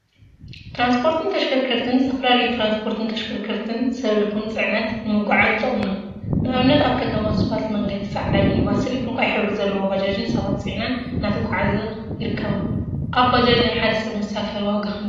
ትራንስፖርትን ተሽከርከርቲን ዝተፈላለዩ ትራንስፖርትን ተሽከርከርቲን ሰብ ይኩን ፅዕነት ንምጉዕዓዝ ይጠቅሙና፡፡ ንአብነት አብ ከተማ እስፓልት መንገዲ ፃዕዳ ሚኒባስን ዕንቋይ ሕብሪ ዘለዋ ባጃጅን ሰባት ፅዒነን እናተጓዓዛ ይርከባ፡፡ አብ ባጃጅ ናይ ሓደ ሰብ መሳፈሪ ዋጋ ክንደይ እዩ?